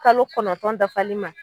Kalo kɔnɔntɔn dafali ma